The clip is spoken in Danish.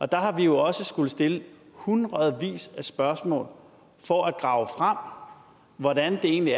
der har vi jo også skullet stille hundredvis af spørgsmål for at grave frem hvordan man egentlig